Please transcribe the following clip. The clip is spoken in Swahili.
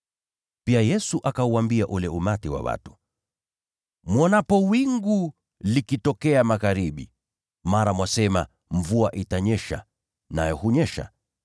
Pia Yesu akauambia ule umati wa watu, “Mwonapo wingu likitokea magharibi, mara mwasema, ‘Mvua itanyesha,’ nayo hunyesha.